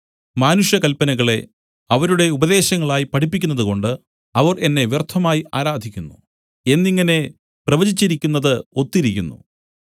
മാനുഷകല്പനകളെ അവരുടെ ഉപദേശങ്ങളായി പഠിപ്പിക്കുന്നതുകൊണ്ട് അവർ എന്നെ വ്യർത്ഥമായി ആരാധിക്കുന്നു എന്നിങ്ങനെ പ്രവചിച്ചിരിക്കുന്നത് ഒത്തിരിക്കുന്നു